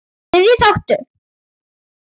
Þriðji þáttur